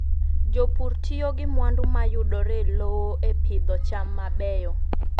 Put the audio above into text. Jopur tiyo gi mwandu ma yudore e lowo e pidho cham mabeyo.